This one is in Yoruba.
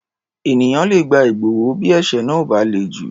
Ènìyàn le gba ìgbọ̀wọ́ bí ẹ̀ṣẹ̀ náà ò bá le jù.